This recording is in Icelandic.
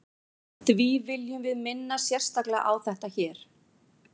því viljum við minna sérstaklega á þetta hér